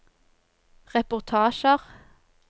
reportasjer